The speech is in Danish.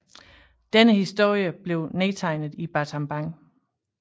Denne historie blev nedtegnet i Battambang